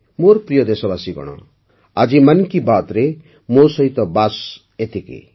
ମୋର ପ୍ରିୟ ଦେଶବାସୀଗଣ ଆଜି ମନ୍ କି ବାତ୍ରେ ମୋ ସହିତ ବାସ୍ ଏତିକି